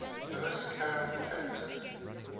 lewis carroll characters